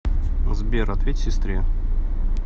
сбер ответь сестре